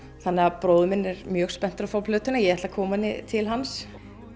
þannig að bróðir minn er mjög spenntur að fá plötuna ég ætla að koma henni til hans